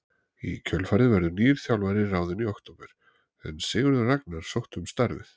Í kjölfarið verður nýr þjálfari ráðinn í október en Sigurður Ragnar sótti um starfið.